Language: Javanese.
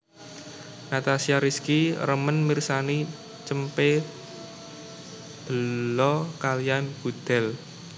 Natasha Rizky remen mirsani cempe belo kaliyan gudel